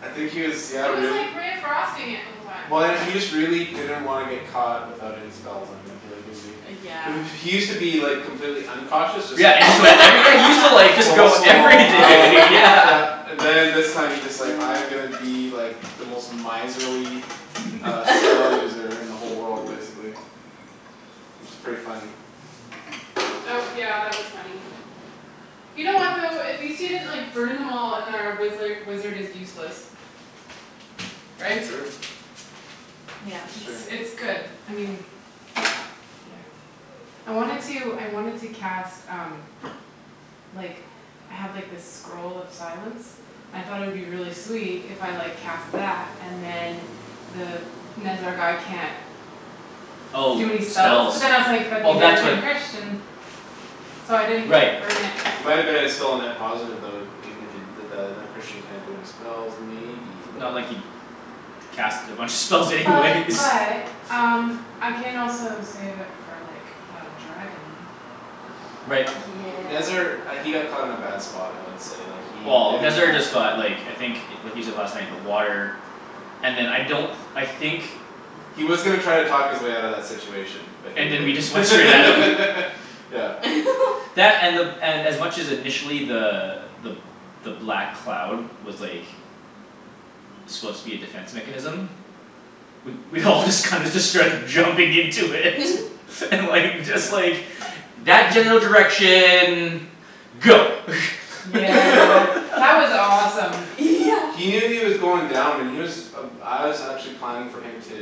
I think he was yeah He was really like ray of frosting it the whole time. Well I know he just really didn't wanna get caught without any spells I think he was being Uh yeah He used to be like complete uncautious just Yeah like and he like I re- yeah he used to just like go Balls to the wall everything I'll yeah yeah And then this time he's just like I'm gonna be like The most miserly uh spell user in the whole world basically. Which is pretty funny. That w- yeah that was funny. You know what though? At least he didn't like burn them all and then wizzler wizard is useless. Right? True. Yeah That's It's true. it's good. I mean Yeah. I wanted to I wanted to cast um like I have like this scroll of silence I thought it would be really sweet if I like cast that and then The Nezzar guy can't Oh Do any spells. spells. But then I was like, "That Oh means that that's what can Christian" So I didn't Right burn it. It might've been a still a net positive even if you did that like Christian can't do any spells maybe but Not like he'd Cast a bunch of spells anyways But but um I can also save it for like a dragon. Right. Nezzar Yeah uh he got caught in a bad spot I would say like he Well didn't Nezzar have just got like I think what he said last night the water And then I don't I think He was gonna try and talk his way outta that situation But he And then we just went straight at him. didn't Yeah That and the and as much initially the the the black cloud was like Supposed to be a defense mechanism We we all just kinda just started jumping into it and like just like That general direction go Yeah that was awesome. Yeah He knew he was going down and he was Uh I was actually planning for him to